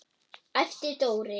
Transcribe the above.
æpti Dóri.